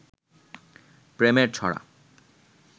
প্রেমের ছড়া